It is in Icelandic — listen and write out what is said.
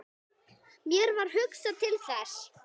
Mér varð hugsað til Þessi!